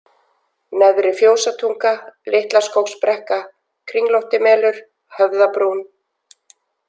Neðri-Fjósatunga, Litlaskógsbrekka, Kringlóttimelur, Höfðabrún